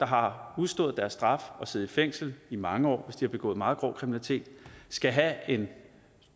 har udstået deres straf og siddet i fængsel i mange år hvis de har begået meget grov kriminalitet skal have en